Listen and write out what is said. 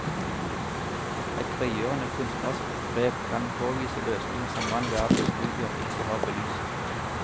Et frigjørende kunstnerisk grep kan påvise løsninger som all verdens studier ikke har belyst.